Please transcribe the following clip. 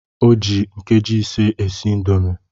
O ji nkeji ise esi indomi